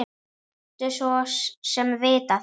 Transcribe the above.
Mátti svo sem vita það.